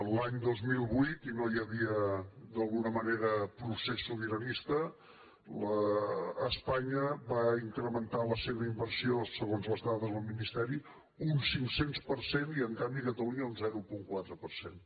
l’any dos mil vuit i no hi havia d’alguna manera procés sobiranista espanya va incrementar la seva inversió segons les dades del ministeri un cinc cents per cent i en canvi catalunya un zero coma quatre per cent